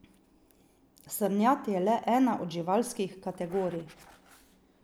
Srnjad je le ena od živalskih kategorij.